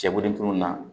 Cɛbodintu na